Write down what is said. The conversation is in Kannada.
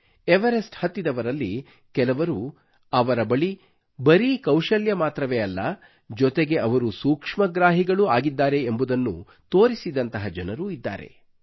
ಎವರೆಸ್ಟ್ ಹತ್ತಿದವರಲ್ಲಿ ಕೆಲವರು ಅವರ ಬಳಿ ಬರೀ ಕೌಶಲ್ಯ ಮಾತ್ರವೇ ಅಲ್ಲ ಜೊತೆಗೆ ಅವರು ಸೂಕ್ಷ್ಮಗ್ರಾಹಿಗಳೂ ಆಗಿದ್ದಾರೆ ಎಂಬುದನ್ನು ತೋರಿಸಿದಂತಹ ಜನರೂ ಇದ್ದಾರೆ